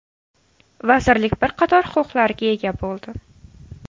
Vazirlik bir qator huquqlarga ega bo‘ldi.